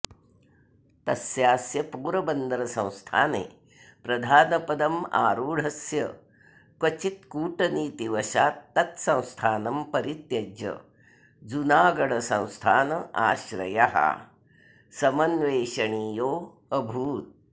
तस्यास्य पोरबन्दरसंस्थाने प्रधानपदमारूढस्य क्वचित्कूटनीतिवशात्तत्संस्थानं परित्यज्य जूनागढसंस्थान आश्रयः समन्वेषणीयोऽभूत्